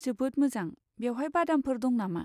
जोबोद मोजां! बेवहाय बादामफोर दं नामा?